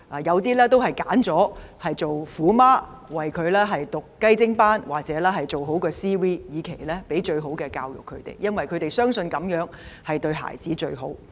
有些家長選擇做"虎媽"，為子女報讀"雞精班"或做好 CV， 以期給他們最好的教育，因為他們相信這樣對子女最好。